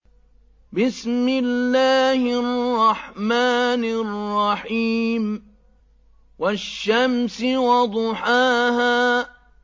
وَالشَّمْسِ وَضُحَاهَا